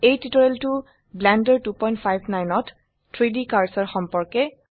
এই টিউটোৰিয়েলটো ব্লেন্ডাৰ 259 ত 3ডি কাৰ্সাৰ সম্পৰ্কে